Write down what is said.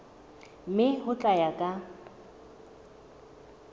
mme ho tla ya ka